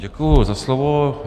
Děkuji za slovo.